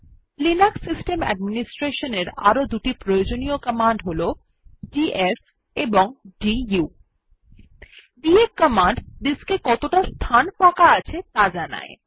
Linux system administration এর আরো দুটি প্রয়োজনীয় কমান্ড হল ডিএফ ও দু ডিএফ কমান্ড ডিস্ক এ কতটা ফাঁকা স্থান আছে যা জানায়